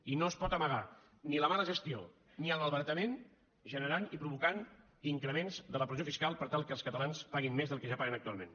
i no es pot amagar ni la mala gestió ni el malbaratament generant i provocant increments de la pressió fiscal per tal que els catalans paguin més del que ja paguen actualment